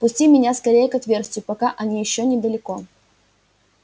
пусти меня скорее к отверстию пока они ещё недалеко